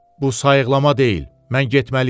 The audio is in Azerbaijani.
Bu sayıqlama deyil, mən getməliyəm.